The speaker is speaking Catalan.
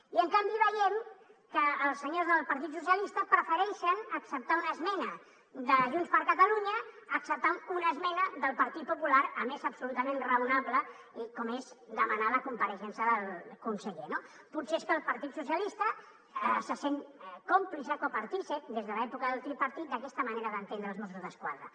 i en canvi veiem que els senyors del partit socialistes prefereixen acceptar una esmena de junts per catalunya a acceptar una esmena del partit popular a més absolutament raonable com és demanar la compareixença del conseller no potser és que el partit socialistes se sent còmplice copartícip des de l’època del tripartit d’aquesta manera d’entendre els mossos d’esquadra